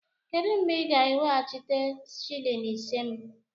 Kedụ mgbe ị ga-eweghachite shịlịn ise m?